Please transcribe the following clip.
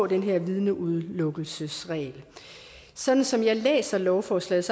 den her vidneudelukkelsesregel sådan som jeg læser lovforslaget